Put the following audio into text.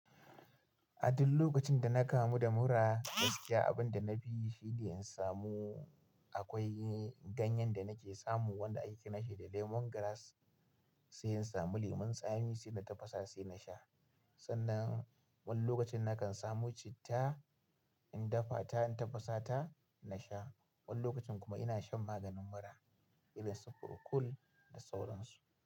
A duk lokacin da na kamu da mura gaskiya abin da na fi yi shine in samu akwai ganyen da nake samu wanda aiki nashi da lemongrass sai in samu lemun tsami sai na tafasa sai na sha. Sannan wani lokacin na kan samu citta in dafa ta in tafasa ta na sha. Wani lokacin kuma ina shan maganin mura irin su Procold da sauran su.